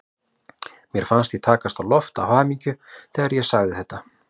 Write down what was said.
Mér fannst ég takast á loft af hamingju þegar ég sagði þetta.